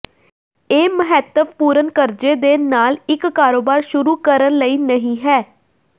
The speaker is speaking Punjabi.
ਇਹ ਮਹੱਤਵਪੂਰਨ ਕਰਜ਼ੇ ਦੇ ਨਾਲ ਇੱਕ ਕਾਰੋਬਾਰ ਸ਼ੁਰੂ ਕਰਨ ਲਈ ਨਹੀ ਹੈ